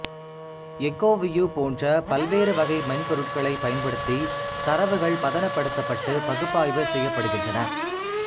எக்கோவியூ போன்ற பல்வேறு வகை மென்பொருட்களைப் பயன்படுத்தி தரவுகள் பதனப்படுத்தப்பட்டு பகுப்பாய்வு செய்யப்படுகின்றன்